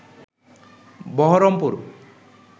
Baharampur